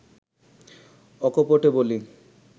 অকপটে বলি